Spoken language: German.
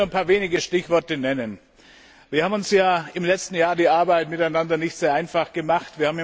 Ich will nur ein paar wenige Stichworte nennen. Wir haben uns ja im letzten Jahr die Arbeit miteinander nicht sehr einfach gemacht.